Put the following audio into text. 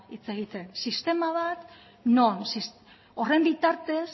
hitz egiten sistema bat non horren bitartez